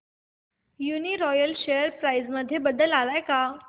Uniroyal share price मध्ये बदल आलाय का